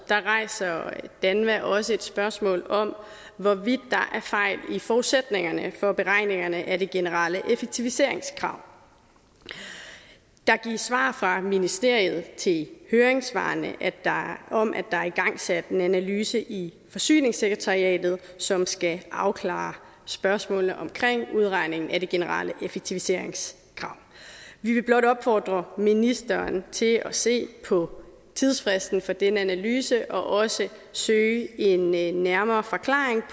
rejser danva også et spørgsmål om hvorvidt der er fejl i forudsætningerne for beregningerne af det generelle effektiviseringskrav der gives svar fra ministeriet til høringssvarene om at der er igangsat en analyse i forsyningssekretariatet som skal afklare spørgsmålene omkring udregningen af det generelle effektiviseringskrav vi vil blot opfordre ministeren til at se på tidsfristen for den analyse og også søge en en nærmere forklaring